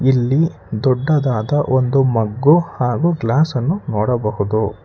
ಇಲ್ಲಿ ದೊಡ್ಡದಾದ ಒಂದು ಮಗ್ಗು ಹಾಗೂ ಗ್ಲಾಸ್ ಅನ್ನು ನೋಡಬಹುದು.